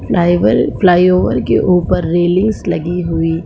फ़्लाईबल flyover के ऊपर रिलीज लगी हुई ।